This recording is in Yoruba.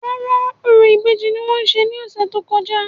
Rárá, orò ìbejì ni wọ́n ṣe ní ọ̀sẹ̀ tó kọjá